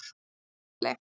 Lágafelli